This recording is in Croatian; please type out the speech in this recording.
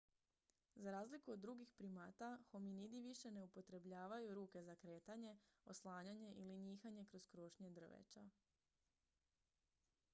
za razliku od drugih primata hominidi više ne upotrebljavaju ruke za kretanje oslanjanje ili njihanje kroz krošnje drveća